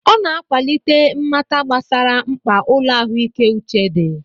Ọ na-akwalite mmata gbasara mkpa ụlọ ahụike uche dị.